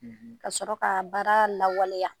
Ka sɔrɔ ka baara lawaleya.